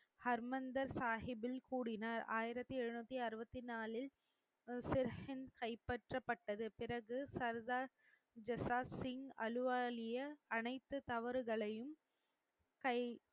ஹர்மந்தர் சாகிபில் கூறினார் ஆயிரத்தி எழுநூத்தி அறுபத்தி நாளில் கைப்பற்றப்பட்டது பிறகு சர்தார் ஜசாத் சிங் அலுவாலிய அனைத்து தவறுகளையும் கை